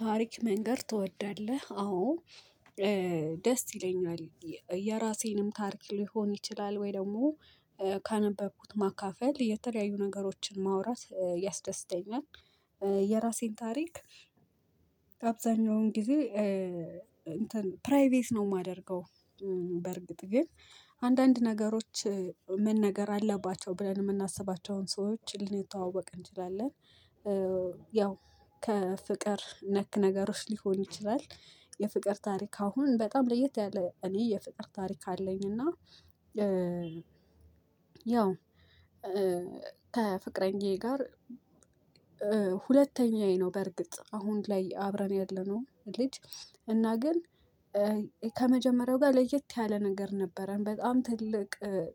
ታሪክ መንገር ትወዳለህ? አዎ ደስ ይለኛል። የራሴንም ታሪክ ሊሆን ይችላል ወይ ደግሞ ካነበብኩት ማካፈል የተለያዩ ነገሮችን ማውራት ያስደስደኛል። የራሴን ታሪክ አብዛኛውን ጊዜ እንትን ፕራይቬት ነው የማደርገው። በርግጥ ግን አንዳንድ ነገሮች መነገር አለባቸው ብለን የምናስባቸውን ሰዎች ልንተዋወቅ እንችላለን። ያው ከፍቅር ነክ ነገሮች ሊሆን ይችላል። የፍቅር ታሪክ አሁን በጣም ለየት ያለ እኔ የፍቅር ታሪክ አለኝ። እና ያው ከፍቅረኛዬ ጋር። ሁለተኛዬ ነው በእርግጥ አሁን ላይ አብረን ያለነው ልጅ እና ግን ከመጀመሪያዬ ጋር ለየት ያለ ነገር ነበረን በጣም ትልቅ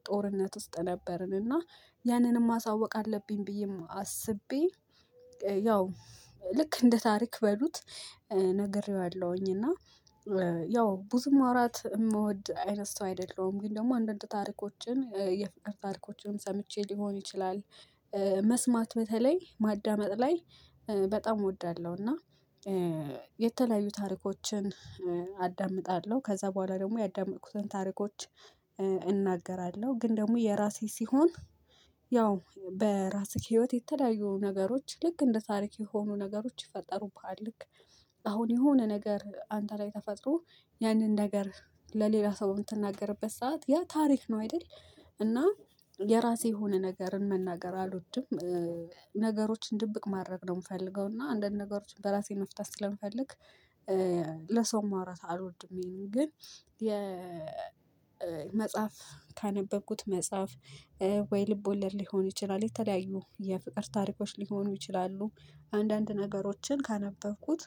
ጦርነት ውስጥ ነበርን። እና ያንንም ማሳወቅ አለብኝ ብዬም አስቤ ያው ልክ እንደ ታሪክ በሉት ነግሬዋለሁኝ። እና ያው ብዙ ማውራት የምወድ አይነት አይደለሁም። ግን ደግሞ አንዳንድ ታሪኮችን የፍቅር ታሪኮችንም ሰምቼ ሊሆን ይችላል። መስማት በተለይ ማዳመጥ ላይ በጣም እወዳለሁ። እና የተለያዩ ታሪኮችን አዳምጣለሁ ከዛ በኋላ ደግሞ ያዳመጥኩትን ታሪኮች እናገራለሁ። ግን ደግሞ የራሴ ሲሆን ያው በራስህ ህይወት የተለያዩ ነገሮች ልክ እንደ ታሪክ የሆኑ ነገሮች ይፈጠሩብሃል። ልክ አሁን የሆነ ነገር አንተ ላይ ተፈጥሮ ያንን ነገር ለሌላ ሰው የምትናገርበት ሰዓት ያ ታሪክ ነው አይደል? እና የራሴ የሆነ ነገርን መናገር አልወድም። ነገሮችን ድብቅ ማድረግ ነው የምፈልገው እና አንዳንድ ነገሮችን በራሴ መፍታት ስለምፈልግ። ለሰው ማውራት አልወድም። ይሄንን ግን የመጽሐፍ ካነበብኩት መጽሐፍ ወይ ልቦለድ ሊሆን ይችላል የተለያዩ የፍቅር ታሪኮች ሊሆኑ ይችላሉ። አንዳንድ ነገሮችን ካነበብኩት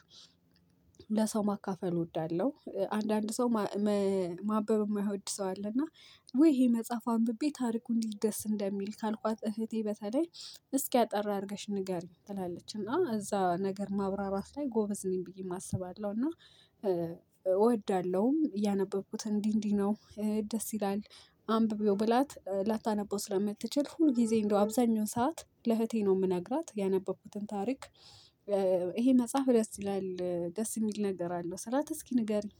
ለሰው ማካፈል እወዳለሁ። አንዳንድ ሰው ማንበብ የማይወድ ሰው አለ እና። ውይ ይሄን መጽሐፍ አንብቤ ታሪኩ እንዴት ደስ እንደሚል ካልኳት እህቴ በተለይ እስኪ አጠር አድርገሽ ንገሪኝ ትላለች። እና እዛ ነገር ማብራራት ላይ ጎበዝ ነኝ ብዬ አስባለሁ። እና እወዳለሁም ያነበብኩት እንዲህ እንዲህ ነው ደስ ይላል። አንብቢው ብላት ላታነበው ስለምትችል ሁል ጊዜ እንደው አብዛኛው ሰዓት ለእህቴ ነው የምነግራት ያነበብኩትን ታሪክ። ይሄ መጽሐፍ ደስ ይላል ደስ የሚል ነገር አለው ስላት እስኪ ንገሪ ኝ?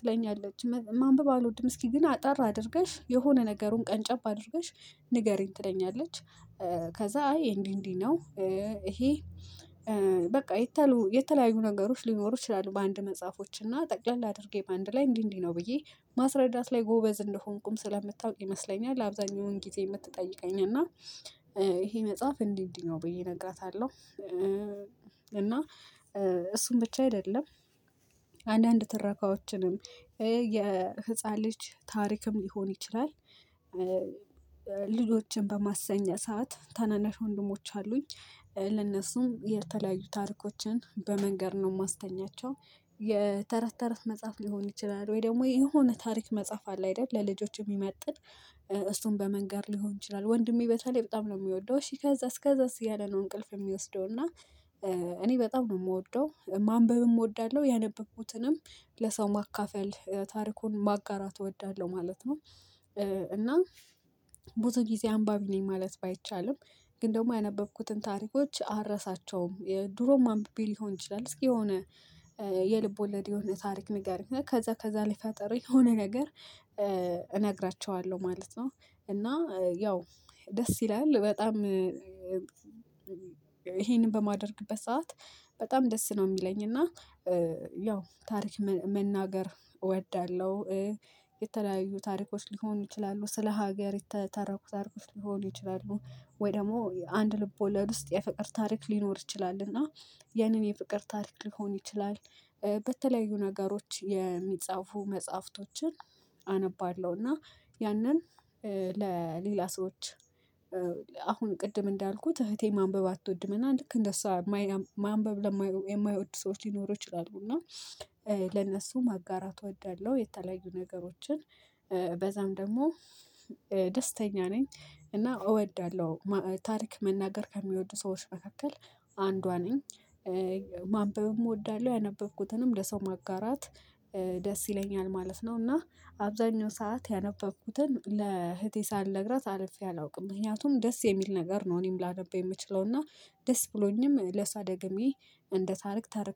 ትለኛለች ማንበብ አልወድም እስኪ ግን አጠር አድርገሽ የሆነ ነገሩን ቀንጨብ አድርገሽ ንገሪኝ ትለኛለች። እወዳለሁም ያነበብኩት እንዲህ እንዲህ ነው ደስ ይላል አንብቢው ብላት ላታነበው ስለምትችል ሁል ጊዜ እንደው አብዛኛው ሰዓት ለእህቴ ነው የምነግራት። ያነበብኩትን ታሪክ ይሄ መጽሐፍ ደስ ይላል ደስ የሚል ነገር አለው ስላት እስኪ ንገሪኝ? የተለያዩ ነገሮች ሊኖሩ ይችላሉ በአንድ መጽሐፎች እና ጠቅለል አድርጌ በአንድ ላይ እንዲህ እንዲህ ነው ብዬ ማስረዳት ላይ ጎበዝ እንደሆንኩም ስለምታውቅ ይመስለኛል። አብዛኛውን ጊዜ የምትጠይቀኝ እና ይሄ መጽሐፍ እንዲህ እንዲህ ነው ብዬ እነግራታለሁ። እና እሱን ብቻ አይደለም አንዳንድ ትረካዎችንም የህፃን ልጅ ታሪክም ሊሆን ይችላል። ልጆችን በማስተኛ ሰዓት ታናናሽ ወንድሞች አሉኝ ለእነሱም የተለያዩ ታሪኮችን በመንገር ነው የማስተኛቸው። የተረት ተረት መጽሐፍ ሊሆን ይችላል ወይ ደግሞ የሆነ ታሪክ መጽሐፍ አለ አይደል ለልጆች የሚመጥን እሱን በመንገር ሊሆን ይችላል። ወንድሜ በተለይ በጣም ነው የሚወደው እሺ ከዛስ ከዛስ እያለ ነው እንቅልፍ የሚወስደው። እና እኔ በጣም ነው የምወደው ማንበብም እወዳለሁ ያነበብኩትንም ለሰው ማካፈል ታሪኩን ማጋራት እወዳለሁ ማለት ነው። እና ብዙ ጊዜ አንባቢ ነኝ ማለት ባይቻልም ግን ደግሞ ያነበብኩትን ታሪኮች አልረሳቸውም የድሮም አንብቤ ሊሆን ይችላል። እስኪ የሆነ የልብ ወለድ የሆነ ታሪክ ነገር ከዛ ከዛ ላይ ፈጥሬ የሆነ ነገር እነግራቸዋለሁ ማለት ነው። እና ያው ደስ ይላል። በጣም ይሄንን በማደርግበት ሰዓት በጣም ደስ ነው የሚለኝ እና ያው ታሪክ መናገር እወዳለሁ። የተለያዩ ታሪኮች ሊሆኑ ይችላሉ ስለ ሀገር የተተረኩት ታሪኮች ሊሆኑ ይችላሉ ወይ ደግሞ አንድ ልብ ወለድ ውስጥ የፍቅር ታሪክ ሊኖር ይችላል እና ያንን የፍቅር ታሪክ ሊሆን ይችላል። በተለያዩ ነገሮች የሚጻፉ መጽሐፍቶችን አነባለሁ። እና ያንን ለሌላ ሰዎች አሁን ቅድም እንዳልኩት እህቴ ማንበብ አትወድምና ልክ እንደሷ ማንበብ የማይወዱ ሰዎች ሊኖሩ ይችላሉ። እና ለነሱ ማጋራት እወዳለሁ። የተለያዩ ነገሮችን በዛም ደግሞ ደስተኛ ነኝ። እና እወዳለሁ ታሪክ መናገር ከሚወዱ ሰዎች መካከል አንዷ ነኝ። ማንበብም እወዳለሁ ያነበብኩትንም ለሰው ማጋራት ደስ ይለኛል ማለት ነው። እና አብዛኛውን ሰዓት ያነበብኩትን ለእህቴ ሳልነግራት አልፌ አላውቅም። ምክንያቱም ደስ የሚል ነገር ነው እኔም ላነብ የምችለው እና ደስ ብሎኝም ለእሷ ደገሜ እንደ ታሪክ እተርክላታለሁ